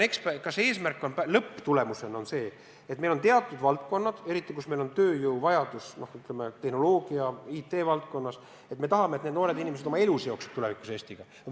Kuna meil on teatud valdkonnad, kus on suur tööjõuvajadus, näiteks IT-valdkond, siis kas lõppeesmärk on see, et me tahame, et need noored inimesed seovad oma elu tulevikus Eestiga?